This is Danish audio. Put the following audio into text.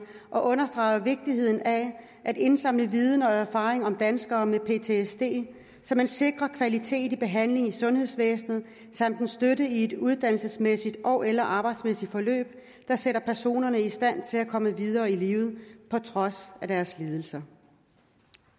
og understreger vigtigheden af at indsamle viden og erfaring om danskere med ptsd så man sikrer kvalitet i behandlingen i sundhedsvæsnet samt en støtte i et uddannelsesmæssigt ogeller arbejdsmæssigt forløb der sætter personerne i stand til at komme videre i livet på trods af deres lidelse